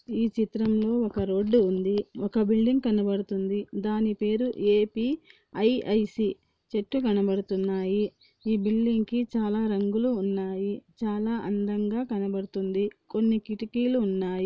ఈ చిత్రం లో ఒక్క రోడ్ ఉంది. ఒక్క బిల్డింగ్ కనబడుతుంది. దాని పేరు ఏ_పి_ఐ_ఐ_సి చెట్లు కనబడుతున్నాయి . ఈ బిల్డింగ్ కి చాలా రంగులు ఉన్నాయి చాలా అందంగా కనబడుతుంది .కొన్ని కిటికీలు ఉన్నాయి.